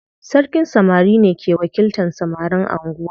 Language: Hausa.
Sarkin samari ne ke wakiltan samarin anguwa.